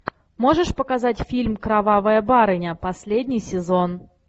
можешь показать фильм кровавая барыня последний сезон